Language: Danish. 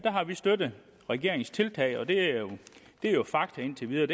har vi støttet regeringens tiltag og det er fakta indtil videre